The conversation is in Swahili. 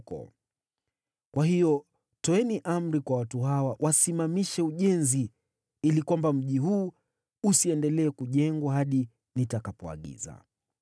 Kwa hiyo toeni amri kwa watu hawa wasimamishe ujenzi, ili kwamba mji huu usiendelee kujengwa hadi nitakapoagiza.